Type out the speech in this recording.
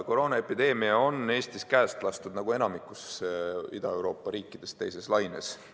Koroonaepideemia on Eestis, nagu enamikus Ida-Euroopa riikides, teises laines käest lastud.